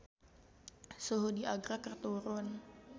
Suhu di Agra keur turun